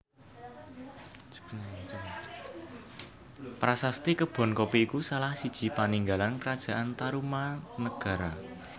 Prasasti Kebonkopi iku salah siji paninggalan Karajan Tarumanagara